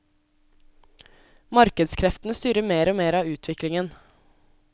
Markedskreftene styrer mer og mer av utviklingen.